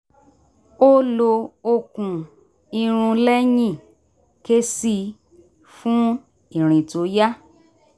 ó lo okùn irun lẹ́yìn ké sí i fún ìrìn tó yá